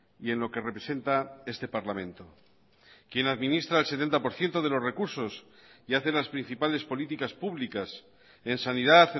y en lo que representa este parlamento quien administra el setenta por ciento de los recursos y hace las principales políticas públicas en sanidad